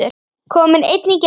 Kominn einn í gegn?